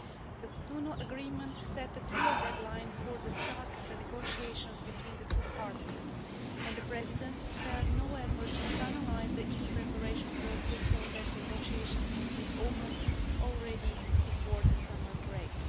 The Cotonou Agreement set a clear deadline for the start of the negotiations between the two parties and the Presidency spared no efforts to finalise the EU preparation process so that negotiations can open before the summer break.